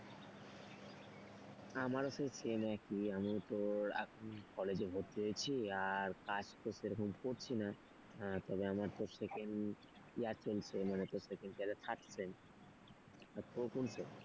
আমারও তো same একই আমি তো এখন কলেজে ভর্তি হয়েছি আর কাজ তো সেরকম করছি না তবে আমার তো second year চলছে মানে তোর second year first sem আর তোর কোন sem,